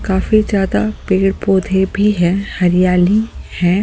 काफी ज्यादा पेड़-पौधे भी हैं हरियाली है।